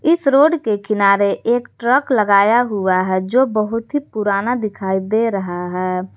इस रोड के किनारे एक ट्रक लगाया हुआ है जो बहुत ही पुराना दिखाई दे रहा है।